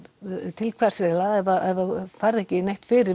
til hvers eiginlega ef þú færð ekki neitt fyrir